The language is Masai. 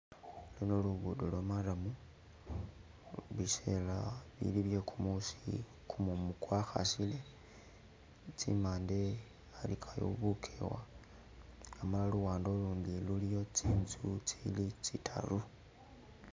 Luno lugudo lwa'murram biseela bili bye kumuusi kumumu kwa khasile kimande wabakayo bukewa amala luwande lulundi luliyo tsinzu tsili tsi'taru